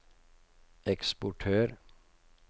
eksportør